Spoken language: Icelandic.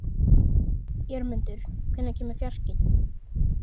Jörmundur, hvenær kemur fjarkinn?